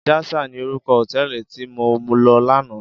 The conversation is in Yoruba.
Jasal ni órúkò hótèlí ti mó lò làná